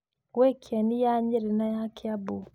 Gwĩ Kĩeni ya Nyeri na ya Kiambu.